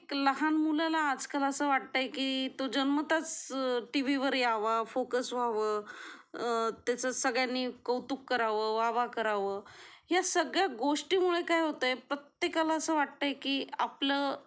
लहान मुलाला आजकाल असं वाटतं की जन्मताच टीव्ही वर यावा फोकस व्हावं त्याचं सगळ्यांनी कौतुक करावं वाह वाह करावा या सगळ्या गोष्टी मुळे काय होते प्रत्येकाला असे वाटते की आपलं